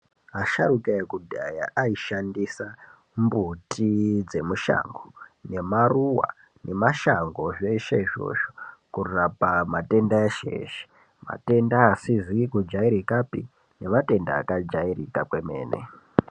Vasharuka ekudhaya ai shandisa mbuti zve mushango ne maruva ne mashango zveshe izvozvo kurapa matenda eshe eshe matenda asizi ku jairikapi ne matenda aka jairika kwemene.